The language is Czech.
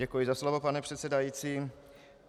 Děkuji za slovo, pane předsedající.